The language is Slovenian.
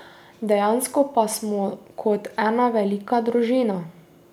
Dejansko pa smo kot ena velika družina.